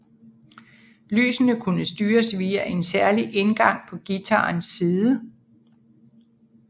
Lysene kunne styres via en særlig indgang på guitarens side